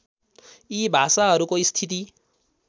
यी भाषाहरूको स्थिति